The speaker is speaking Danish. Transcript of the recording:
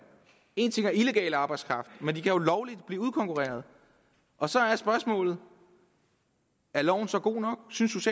en ting er illegal arbejdskraft men de kan jo lovligt blive udkonkurreret og så er spørgsmålet er loven så god nok synes